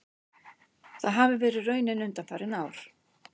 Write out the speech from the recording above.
Það hafi verið raunin undanfarin ár